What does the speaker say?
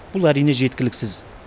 бұл әрине жеткіліксіз